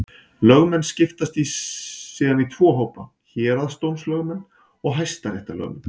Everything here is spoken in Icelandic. Lögmenn skiptast síðan í tvo hópa: Héraðsdómslögmenn og hæstaréttarlögmenn.